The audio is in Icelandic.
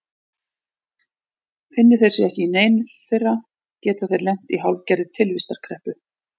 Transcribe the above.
Finni þeir sig ekki í neinu þeirra geta þeir lent í hálfgerðri tilvistarkreppu.